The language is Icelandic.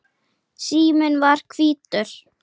Síminn var hvítur.